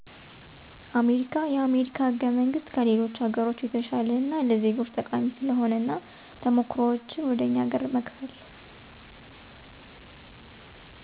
አሜሪካ የአሜሪካ ህገመንግስት ከሌሎች ሀገሮች የተሸለ እና ለዜጎች ጠቃሚ ስለሆነ እና ተሞክሮዎችን ወደ እኛ ሀገር መከፈል